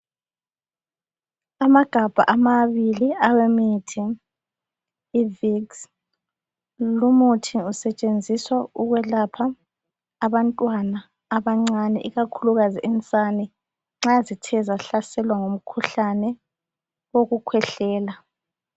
Amagabha amabili awemithi, i-vicks. Lu muthi usetshenziswa ukwelapha abantwana abancane, ikakhulukazi insane, nxa zithe zahlaselwa ngumkhuhlane wokukhwehlela.